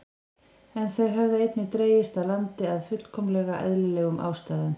En þau höfðu einnig dregist að landinu af fullkomlega eðlilegum ástæðum.